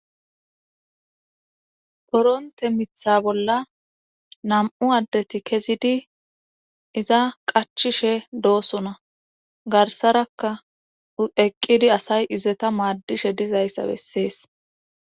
koronte mitha bolla nam7u addeti kezidi iza qachishe doosona garsarakka eqqidi asay izeta maadishe dizayssa bessees